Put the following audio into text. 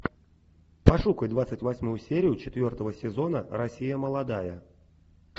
пошукай двадцать восьмую серию четвертого сезона россия молодая